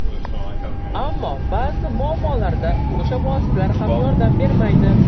Ammo ba’zi muammolarda o‘sha vositalar ham yordam bermaydi.